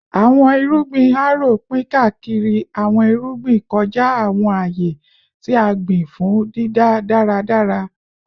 Awọn irugbin Harrow pin kaakiri awọn irugbin kọja awọn aaye ti a gbin fun dida daradara